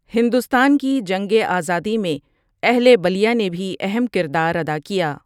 ہندوستان کی جنگ آزادی میں اہل بلیا نے بھی اہم کردار ادا کیا ۔